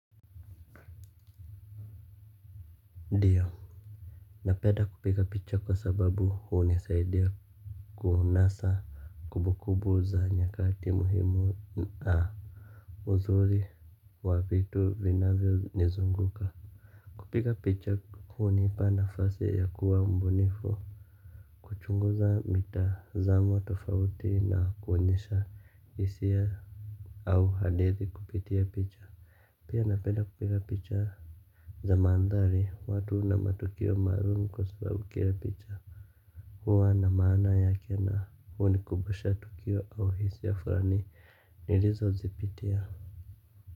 Ndiyo, napenda kupiga picha kwa sababu hunisaidia kuunasa kumbukumbu za nyakati muhimu na uzuri wa vitu vinavyonizunguka. Kupiga picha hunipa nafasi ya kuwa mbunifu huchunguza mitazamo tofauti na kuonyesha hisia au hadithi kupitia picha. Pia napenda kupika picha za mandhari watu na matukio maalum kwa sababu kila picha huwa na maana yake na hunikumbusha tukio au hisia fulani nilizozipitia.